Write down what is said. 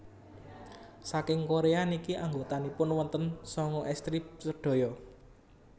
saking Korea niki anggotanipun wonten sanga estri sedaya